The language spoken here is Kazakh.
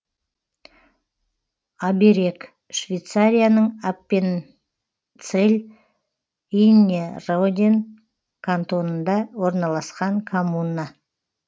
аберег швейцарияның аппенцелль иннерроден кантонында орналасқан коммуна